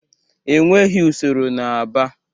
Enweghị usoro n'Aba.